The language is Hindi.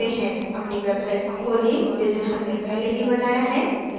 अपनी website को खोलें जिसे हमने पहले ही बनाया है